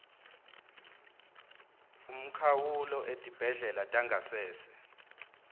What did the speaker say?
umkhawulo etibhedlela tangasese